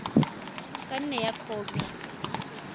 ka nne ya nna khopi